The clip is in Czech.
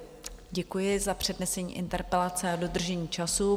Děkuji za přednesení interpelace a dodržení času.